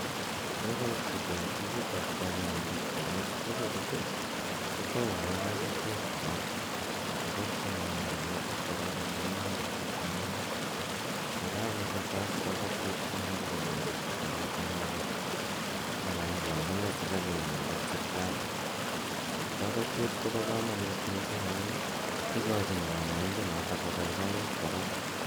Ye kait chito ofisit ao kanyaindet korok, ye kachut i, kotaune kakatiet korok. Ikat kanyaindanotok korok ama imwachi kit ne amin. Ye kakopata as kakatiet ko muchi komwachi as chito kit ne kaame ako amune si kanyone siptali. Kakatiet ko pa kamanut missing' amu ikachin kanyaindanotok kopaipait korok.